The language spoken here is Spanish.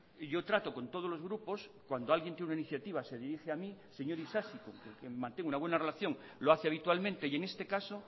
yo trato con todos los grupos cuando alguien tiene una iniciativa se dirige a mí el señor isasi con el que mantengo una buena relación lo hace habitualmente y en este caso